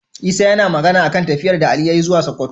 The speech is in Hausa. Isa yAna Magana akan tafiyar da Ali yayi zuwa sokoto